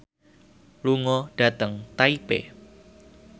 lunga dhateng Taipei